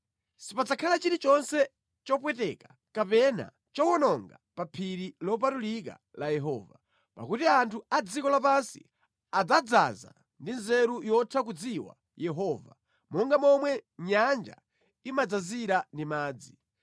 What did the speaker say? Sipadzakhala chilichonse chopweteka kapena chowononga pa phiri lopatulika la Yehova, pakuti anthu a dziko lapansi adzadzaza ndi nzeru yotha kudziwa Yehova monga momwe nyanja imadzazira ndi madzi.